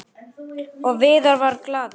Og Viðar varð glaður.